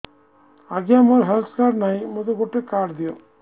ଆଜ୍ଞା ମୋର health card ନାହିଁ ମୋତେ ଗୋଟେ କାର୍ଡ ଦିଅ